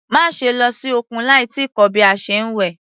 Má ṣe lọ sí òkun láì tíì kọ́ bí a ṣe ń wẹ̀.